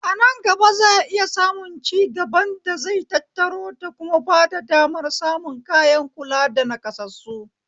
Anan gaba za'a iya samun cigaban da zai tattaro da kuma bada damar samun kayan kula da naƙassasu